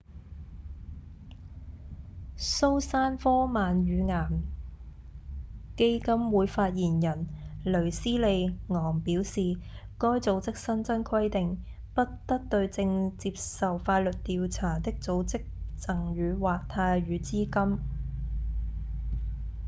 蘇珊科曼乳癌基金會發言人雷斯莉‧昂表示該組織新增規定不得對正接受法律調查的組織贈予或貸予資金